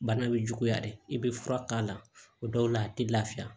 Bana bɛ juguya de i bɛ fura k'a la o dɔw la a tɛ lafiya